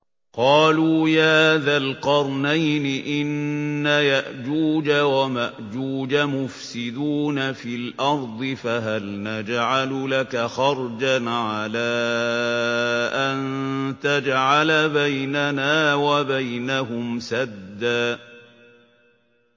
قَالُوا يَا ذَا الْقَرْنَيْنِ إِنَّ يَأْجُوجَ وَمَأْجُوجَ مُفْسِدُونَ فِي الْأَرْضِ فَهَلْ نَجْعَلُ لَكَ خَرْجًا عَلَىٰ أَن تَجْعَلَ بَيْنَنَا وَبَيْنَهُمْ سَدًّا